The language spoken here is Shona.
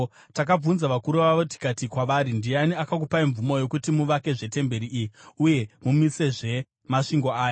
Takabvunza vakuru vavo tikati kwavari, “Ndiani akakupai mvumo yokuti muvakezve temberi iyi uye mumisezve masvingo aya?”